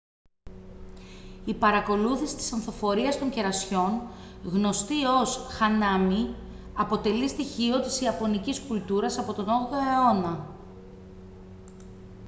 η παρακολούθηση της ανθοφορίας των κερασιών γνωστή ως hanami αποτελεί στοιχείο της ιαπωνικής κουλτούρας από τον 8ο αιώνα